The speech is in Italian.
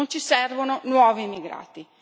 Non ci servono nuovi immigrati.